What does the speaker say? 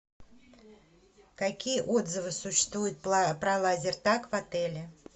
какие отзывы существуют про лазертаг в отеле